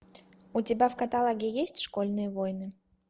у тебя в каталоге есть школьные войны